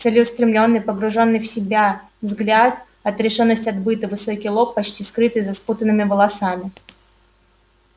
целеустремлённый погруженный в себя взгляд отрешённость от быта высокий лоб почти скрытый за спутанными волосами